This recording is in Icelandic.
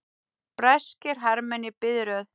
Breskir hermenn í biðröð.